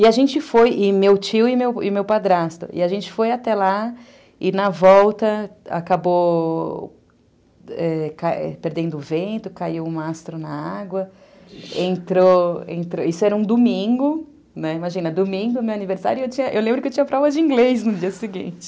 E a gente foi, e meu tio e meu meu padrasto, e a gente foi até lá e, na volta, acabou perdendo o vento, caiu um astro na água, entrou entrou... Isso era um domingo, imagina, domingo, meu aniversário, e eu lembro que eu tinha prova de inglês no dia seguinte.